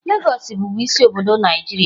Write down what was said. Lagos bụbu isi obodo Naịjirịa.